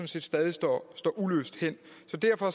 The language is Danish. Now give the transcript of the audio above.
set stadig står uløst hen så derfor